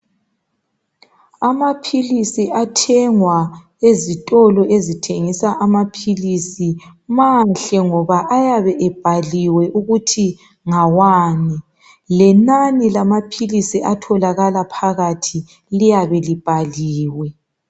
Amaphilisi athengwa ezitolo ezithengisa amaphilisi mahle ngoba ayabe ebhaliwe ukuthi ngawani lenani lamaphilisi atholakala phakathi liyabe libhaliwe.